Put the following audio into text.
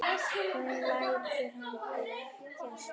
Hún lætur hann blekkja sig.